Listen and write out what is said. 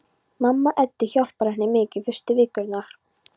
Mamma Eddu hjálpar henni mikið fyrstu vikurnar.